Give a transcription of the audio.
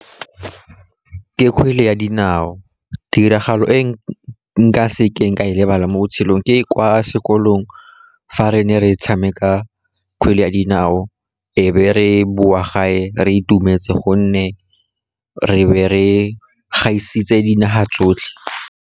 Ke kgwele ya dinao, tiragalo e nka sekeng ka e lebala mo botshelong, ke kwa sekolong fa re ne re tshameka kgwele ya dinao, e be re boa gae re itumetse, gonne re be re gaisitse dinaga tsotlhe.